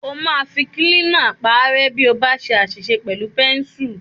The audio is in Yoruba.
O máa fi kílínà paárẹ́ bí o ba ṣe àṣìṣe pẹ̀lú pẹ́ńsù.